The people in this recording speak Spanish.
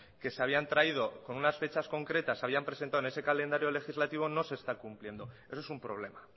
que se habían traído con unas fechas concretas habían presentado en ese calendario legislativo no se está cumpliendo eso es un problema